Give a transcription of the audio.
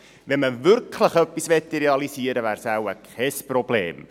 Wenn man wirklich etwas realisieren wollte, wäre es wohl kein Problem.